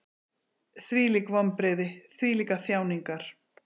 Hvílík vonbrigði, hvílíkar þjáningar!